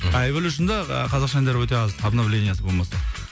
а эвалюшнда ы қазақша әндер өте аз обновлениесі болмаса